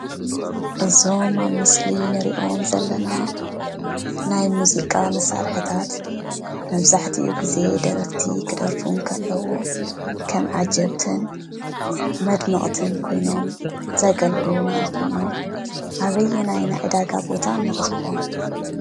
እዞም አብ ምስሊ እንሪኦም ዘለና ናይ ሙዚቃ መሳርሕታት መብዛሕትኡ ግዘ ደረፍቲ ክደርፉ እንከለው ከም ዓጀብትን መድመቅትን ኮይኖም ዘገልግሉና ኮይኖም አበየናይ ናይ ዕዳጋ ቦታ ንረክቦም ?